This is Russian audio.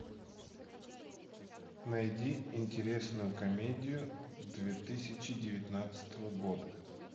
найди интересную комедию две тысячи девятнадцатого года